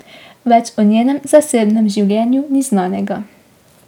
Več o njenem zasebnem življenju ni znanega.